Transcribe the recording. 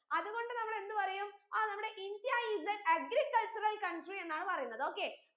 അത് കൊണ്ട് നമ്മൾ എന്ത് പറയും അഹ് നമ്മടെ india is the agricultural country എന്നാണ് പറയിന്നത് okay